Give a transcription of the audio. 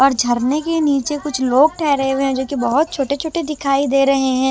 और झरने के नीचे कुछ लोग ठहरे हुए है जो कि बहोत छोटे छोटे दिखाई दे रहे हैं।